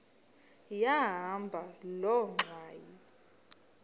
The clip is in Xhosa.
yahamba loo ngxwayi